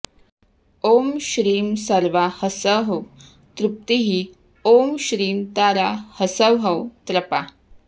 ॐ श्रीं सर्वा हसौः तॄप्तिः ॐ श्रीं तारा हसौः त्रपा